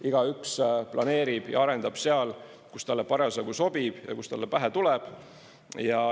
Igaüks planeerib ja arendab seal, kus talle parasjagu sobib ja kus talle pähe tuleb.